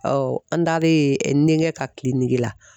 an taalen n denkɛ ka la